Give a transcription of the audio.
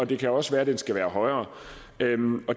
det kan også være den skal være højere